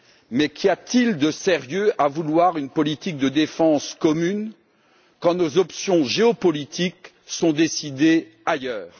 Mais qu'y a t il de sérieux à vouloir une politique de défense commune quand nos options géopolitiques sont décidées ailleurs?